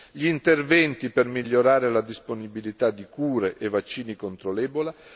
gli interventi per migliorare la disponibilità di cure e vaccini contro l'Ebola